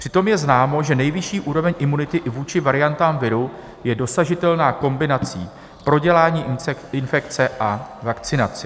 Přitom je známo, že nejvyšší úroveň imunity i vůči variantám viru je dosažitelná kombinací prodělání infekce a vakcinace.